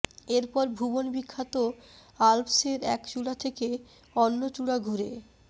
এরপর ভুবন বিখ্যাত আল্পসের এক চূড়া থেকে অন্য চূড়া ঘুরে